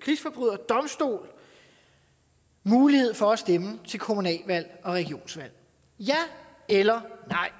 krigsforbryderdomstol mulighed for at stemme til kommunalvalg og regionsvalg ja eller nej